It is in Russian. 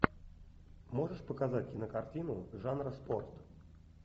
можешь показать кинокартину жанра спорт